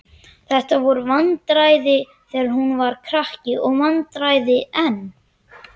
Þetta voru vandræði þegar hún var krakki og vandræði enn.